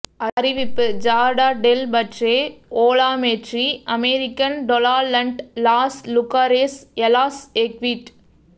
அறிவிப்பு ஜார்டா டெல் பட்ரே ஓ லா மேட்ரி அமெரிக்கன் டொலாலண்ட் லாஸ் லுகாரேஸ் எ லாஸ் எ க்விட்